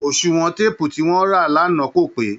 oṣùwọn téèpù tí wọ́n rà lánàá kò pé